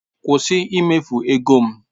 Kwụsị ịmefu ego m!